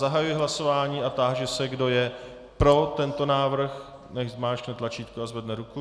Zahajuji hlasování a táži se, kdo je pro tento návrh, nechť zmáčkne tlačítko a zvedne ruku.